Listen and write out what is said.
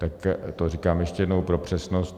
Tak to říkám ještě jednou pro přesnost.